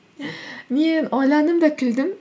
мен ойландым да күлдім